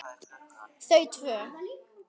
Þau tvö.